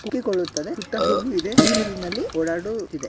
ಹೋಗು ಇದೆ ನೀರಿನಲ್ಲಿ ಓಡಾಡುತ್ತಿದೆ.